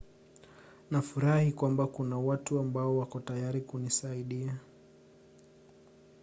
nafurahi kwamba kuna watu ambao wako tayari kunisaidia